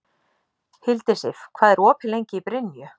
Hildisif, hvað er opið lengi í Brynju?